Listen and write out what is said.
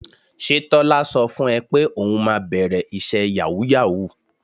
Ṣé Tọ́lá sọ fún ẹ pé òun máa bẹ̀rẹ̀ iṣẹ́ yàwúù-yàwúù?